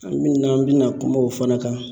An mina an mi na kuma o fana kan.